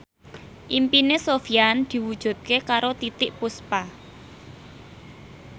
impine Sofyan diwujudke karo Titiek Puspa